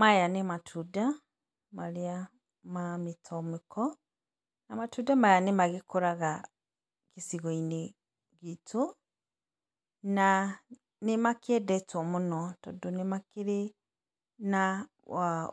Maya nĩ matunda, marĩa, ma mĩtomeko na matunda maya nĩ magĩkũraga gĩcigo-inĩ gitũ. Na nĩmakĩendetwo mũno, tondũ nĩmakĩrĩ na